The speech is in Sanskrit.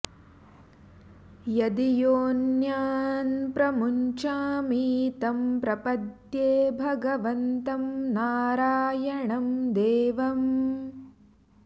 यदि योन्यां प्रमुञ्चामि तं प्रपद्ये भगवन्तं नारायणं देवम्